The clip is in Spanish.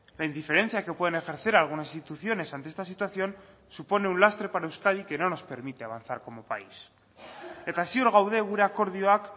la indiferencia que pueden ejercer algunas instituciones ante esta situación supone un lastre para euskadi que no nos permite avanzar como país eta ziur gaude gure akordioak